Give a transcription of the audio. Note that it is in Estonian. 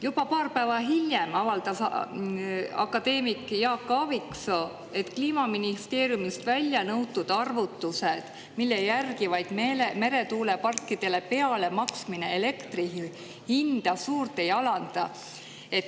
Juba paar päeva hiljem avaldas akadeemik Jaak Aaviksoo, et Kliimaministeeriumilt on välja nõutud nende arvutused, et meretuuleparkidele peale maksmine elektri hinda suurt ei alanda.